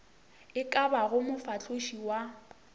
e ka bago mofahloši wa